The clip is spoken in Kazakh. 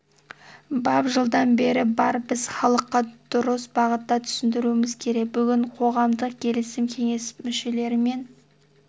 бап жылдан бері бар біз халыққа дұрыс бағытта түсіндіруіміз керек бүгін қоғамдық келісім кеңесі мүшелерімен